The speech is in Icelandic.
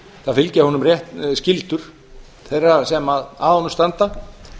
það fylgja honum skyldur þeirra sem að honum standa